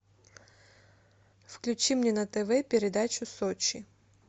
включи мне на тв передачу сочи